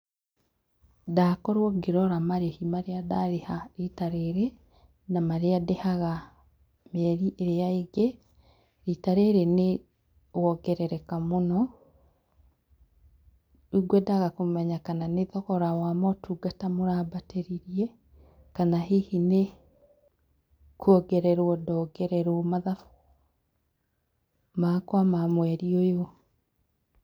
Ndakorwo ngĩrora marĩhi marĩa ndarĩha rita rĩrĩ, na marĩa ndĩhaga mĩeri ĩrĩa ĩngĩ. Rita rĩrĩ nĩwongerereka mũno. Rĩu ngwendaga kũmenya kana nĩ thogora wa motungata mũrambatĩrithia kana hihi nĩ kwongererwo ndongererwo mathabu makwa ma mweri ũyũ.